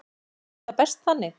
Þórhildur: Er það best þannig?